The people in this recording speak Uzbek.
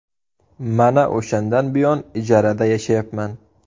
Mana o‘shandan buyon ijarada yashayapman.